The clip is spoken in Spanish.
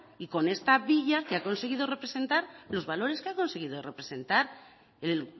y con esta villa que ha conseguido representar los valores que ha conseguido representar el